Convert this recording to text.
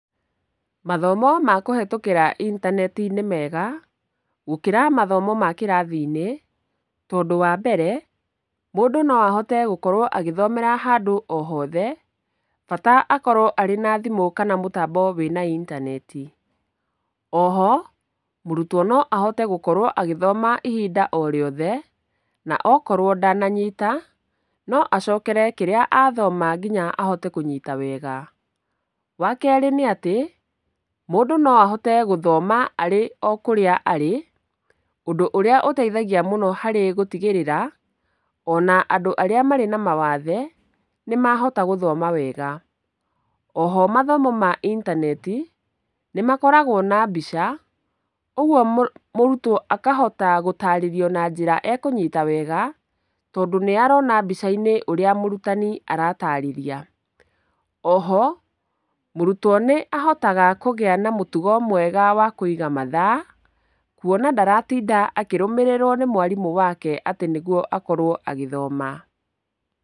Mathomo ma kũhĩtũkĩra intaneti nĩ mega gũkĩra mathomo ma kĩrathi-inĩ, tondũ wambere, mũndũ no ahote gũkorwo agĩthomera handũ o hothe bata akorwo arĩ na thimũ kana mũtambo wĩ na itaneti. Oho, mũrutwo no ahote gũkorwo agĩthoma ihinda o rĩothe na okorwo ndananyita no acokere kĩrĩa athoma kinya ahote kũnyita wega. Wa kerĩ nĩ atĩ, mũndũ no ahote gũthoma arĩ o kũrĩa arĩ, ũndũ ũrĩa ũteithagia mũno harĩ gũtigĩrĩra ona andũ arĩa marĩ na mawathe nĩmahota gũthoma wega. Oho mathomo ma intaneti nĩmakoragwo na mbica, ũguo mũrũtwo akahota gũtarĩrio na njĩra ekũnyita wega, tondũ nĩarona mbica-inĩ ũrĩa mũrutani aratarĩria. Oho, mũrutwo nĩahotaga kũgĩa na mũtugo mwega wa kũiga mathaa kuona ndaratinda akĩrũmĩrĩrwo nĩ mwarimũ wake atĩ nĩguo akorwo agĩthoma.